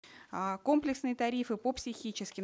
а комплексные тарифы по психическим